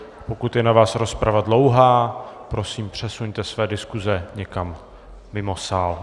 Pokud je na vás rozprava dlouhá, prosím, přesuňte své diskuze někam mimo sál.